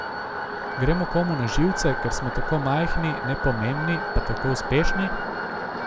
Gremo komu na živce, ker smo tako majhni, nepomembni, pa tako uspešni?